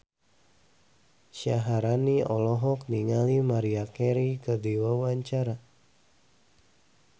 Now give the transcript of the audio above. Syaharani olohok ningali Maria Carey keur diwawancara